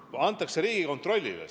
See ülesanne antakse Riigikontrollile.